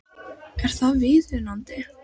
Er það viðunandi?